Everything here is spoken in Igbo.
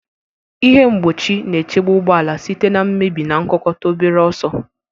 Ihe mgbochi na-echebe ụgbọ ala site na mmebi na nkukota obere ọsọ.